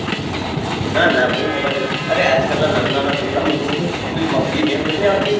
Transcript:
ના ના હું mobile નહી જોતો અરે આજકાલ ના નાના છોકરા મુ જોવું છુ પેલી pubg ગેમ નતી આવતી